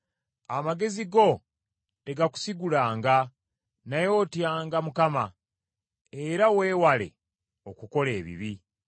Amagezi go tegakusigulanga, naye otyanga Mukama , era weewale okukola ebibi.